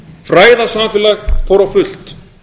fræðasamfélagið fór á fullt